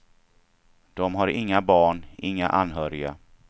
De har inga barn, inga anhöriga.